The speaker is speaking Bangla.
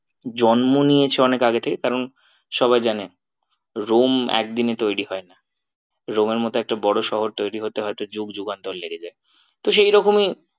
জন্ম নিয়েছে অনেক আগে থেকে কারণ সবাই জানে room একদিনে তৈরী হয় না room এর মতো একটা বড়ো শহর তৈরী হতে হয়তো যুগযুগান্তর লেগে যায়। তো সেই রকমই